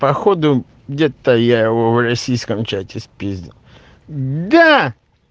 походу где-то я его в российском чате спиздил да